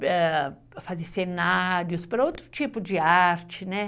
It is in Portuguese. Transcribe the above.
para fazer cenários, para outro tipo de arte, né?